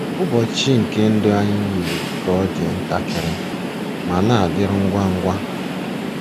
ỤBỌCHỊ nke ndụ anyị yiri ka ọ dị ntakịrị ma na-adịru ngwa ngwa.